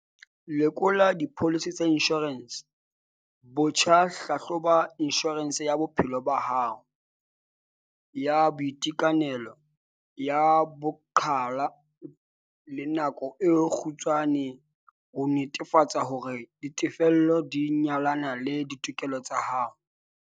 Lekola dipholisi tsa inshorense botjha - Hlahloba inshorense ya bophelo ba hao, ya boitekanelo, ya boqhwala le ya nako e kgutshwane ho netefatsa hore ditefello di nyalana le ditlhoko tsa hao.